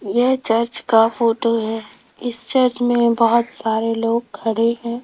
यह चर्च का फोटो है इस चर्च में बहोत सारे लोग खड़े हैं।